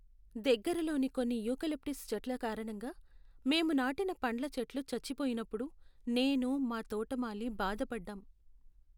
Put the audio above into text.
దగ్గరలోని కొన్ని యూకలిప్టస్ చెట్ల కారణంగా మేము నాటిన పండ్ల చెట్లు చచ్చిపోయినప్పుడు నేను, మా తోటమాలి బాధపడ్డాం.